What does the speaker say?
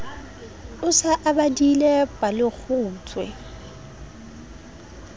o se o badile palekgutshwe